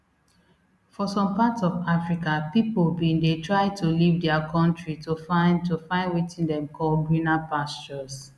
for some parts of africa pipo bin dey try to leave dia kontri to find to find wetin dem call greener pastures